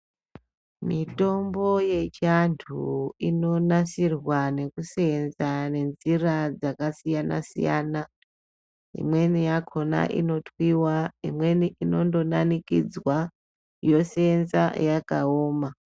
Mitombo yechi antu ino nasirwa nekusenza nenzira dzaka siyana siyana imweni yakona ino twiwa imweni inondo danikidzwa yosenza yakaoma.